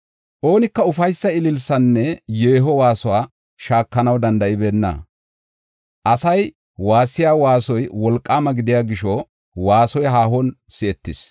Oonika Ufaysa ililisaanne yeeho waasuwa shaakanaw danda7ibeenna; asay waassiya waasoy wolqaama gidiya gisho waasoy haahon si7etees.